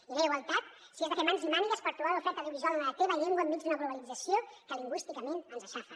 i no hi ha igualtat si has de fer mans i mànigues per trobar l’oferta audiovisual en la teva llengua enmig d’una globalització que lingüísticament ens aixafa